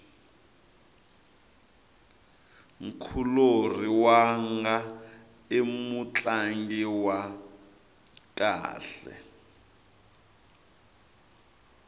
nkulorhi wanga i mutlangi wa kahle